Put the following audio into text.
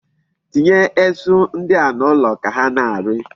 Tinye esu ndi a n'olu ka ha na-ari.